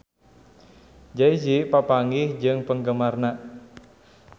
Jay Z papanggih jeung penggemarna